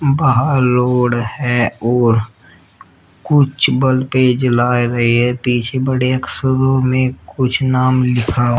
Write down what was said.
बाहर लोड है और कुछ बल्बें जला रहे हैं पीछे बड़े अक्षरों में कुछ नाम लिखा --